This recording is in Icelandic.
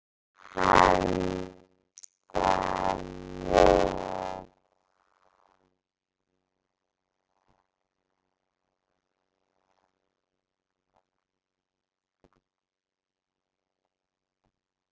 Handan við